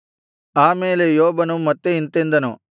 ಆ ಮೇಲೆ ಯೋಬನು ಮತ್ತೆ ಇಂತೆಂದನು